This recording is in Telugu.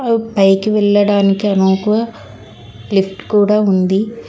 పైకి వెళ్లడానికి నువ్వు లిఫ్ట్ కూడా ఉంది.